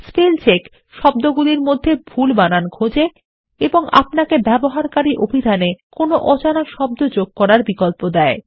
spell চেকশব্দগুলির মধ্যে ভুল বানান খোজেএবং আপনাকে ব্যবহারকারী অভিধান একোনো অজানা শব্দ যোগ করার বিকল্পদেয়